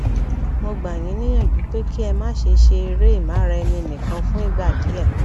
mo gbà yín níyànjú pé kí ẹ má ṣe ṣe eré ìmáraẹninìkan fún ìgbà díẹ